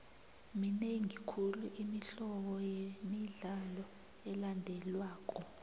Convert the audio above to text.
minengi khulu imihlobo yemidlalo elandelwako